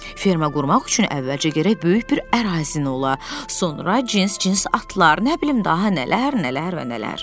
Ferma qurmaq üçün əvvəlcə gərək böyük bir ərazin ola, sonra cins-cins atlar, nə bilim daha nələr, nələr və nələr.